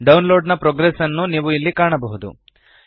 download ನ progress ಅನ್ನು ನೀವು ಇಲ್ಲಿ ಕಾಣಬಹುದು